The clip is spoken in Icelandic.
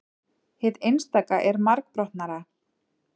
hið einstaka er margbrotnara